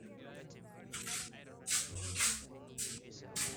eimine ngole olderefai olola lai, netanya eingoru